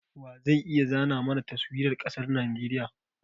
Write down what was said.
Wa zai iya zana mana Taswirar ƙasar Najeriya?